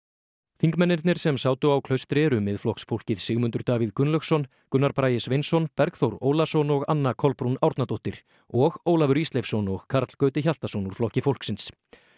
þingmennirnir sem sátu á Klaustri eru Miðflokksfólkið Sigmundur Davíð Gunnlaugsson Gunnar Bragi Sveinsson Bergþór Ólason og Anna Kolbrún Árnadóttir og Ólafur Ísleifsson og Karl Gauti Hjaltason úr Flokki fólksins